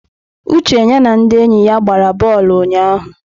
Uche ya na ndị enyi ya gbara bọọlụ ụnyahụ.